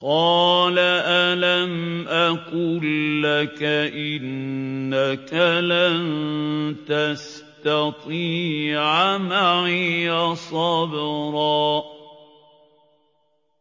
۞ قَالَ أَلَمْ أَقُل لَّكَ إِنَّكَ لَن تَسْتَطِيعَ مَعِيَ صَبْرًا